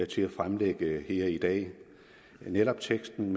til at fremsætte her i dag netop teksten